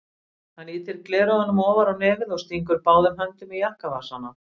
Hann ýtir gleraugunum ofar á nefið og stingur báðum höndum í jakkavasana.